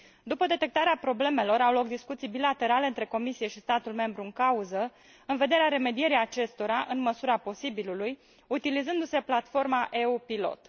După detectarea problemelor, au loc discuții bilaterale între Comisie și statul membru în cauză, în vederea remedierii acestora, în măsura posibilului, utilizându se platforma EU Pilot.